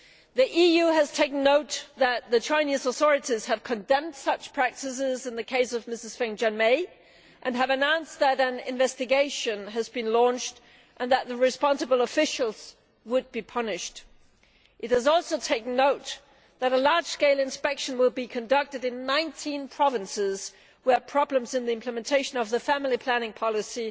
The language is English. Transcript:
The EU has taken note that the Chinese authorities have condemned such practices in the case of Mrs Feng Jianmei, and have announced that an investigation has been launched and that the responsible officials would be punished. It has also taken note that a large scale inspection will be conducted in 19 provinces where problems in the implementation of the family planning policy